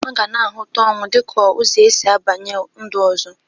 A gana ahụtakwa ọnwụ dịka ụzọ esi abanye ụdị ndu ọzọ.